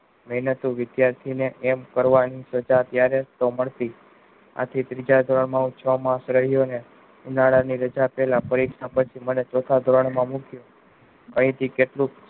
મેહનત તો વિધાર્તી ને એમ કરવાની જયારે મળતી આ થી ત્રીજા ધોરણ માં છ માસ રહ્યું ને ઉનાળા ની રજા પેહલા પરીક્ષા પછી મને ચૌથા ધોરણ માં મુખ્ય પછી થી કેટલું